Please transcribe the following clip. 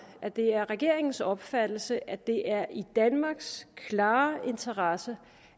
at det er regeringens opfattelse at det er i danmarks klare interesse